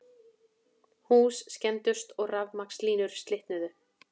Hús skemmdust og rafmagnslínur slitnuðu